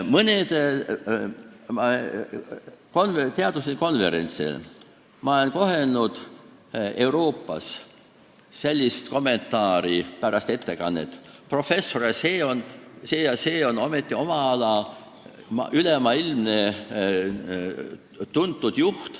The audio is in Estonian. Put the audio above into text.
Mõnel teaduslikul konverentsil Euroopas olen ma kuulnud pärast ettekannet umbes sellist kommentaari: "Professor see ja see on ometi omal alal üle maailma tuntud.